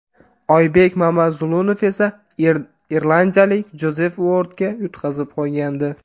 Oybek Mamazulunov esa irlandiyalik Jozef Uordga yutqazib qo‘ygandi.